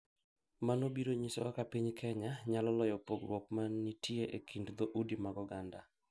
Mano biro nyiso kaka piny Kenya nyalo loyo pogruok ma nitie e kind dhoudi mag oganda .